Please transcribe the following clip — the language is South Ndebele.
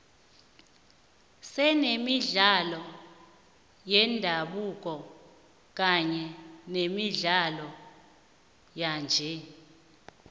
senemidlalo yendabuko kanye nemidlalo yanje